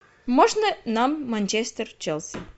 можно нам манчестер челси